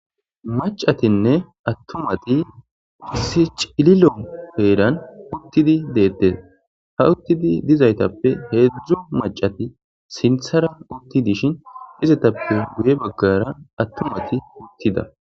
Macatinne attumati issi cililo heeran uttidi de7ettes ha uttidi dizaytappe heedzdzu macati sinthara utti dishin izetappe guye baggara attumati uttida.